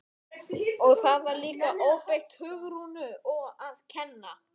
Og það var líka óbeint Hugrúnu að kenna.